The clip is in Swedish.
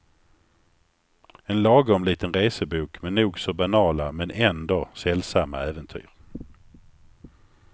En lagom liten resebok med nog så banala men ändå sällsamma äventyr.